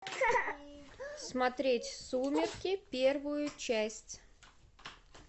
смотреть сумерки первую часть